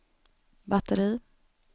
batteri